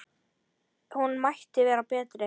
Hún mætti vera betri.